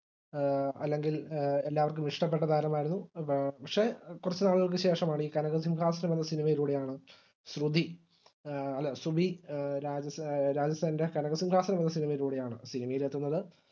അഹ് അല്ലെങ്കിൽ എല്ലാവര്ക്കും ഇഷ്ട്ടപെട്ട താരമായിരുന്നു എ പക്ഷെ കുറച്ചുനാളുകൾക്ക് ശേഷമാണ് ഈ കനകസിംഹാസനം എന്ന സിനിമയിലൂടെയാണ് ശ്രുതി എ അല്ല സുബി എ രാജേഷേ രാജസേനൻറെ കനകസിംഹാസനം എന്ന സിനിമയിലൂടെയാണ് സിനിമയിൽ എത്തുന്നത്